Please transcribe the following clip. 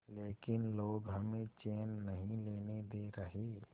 लेकिन लोग हमें चैन नहीं लेने दे रहे